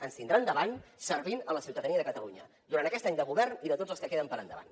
ens tindran davant servint la ciutadania de catalunya durant aquest any de govern i de tots els que queden per endavant